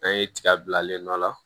An ye tiga bilalen dɔ la